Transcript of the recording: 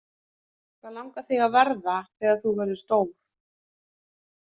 Hvað langar þig að verða þegar þú verður stór?